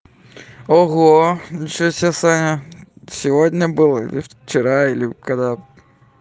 ого ничего себе саня сегодня была или вчера или когда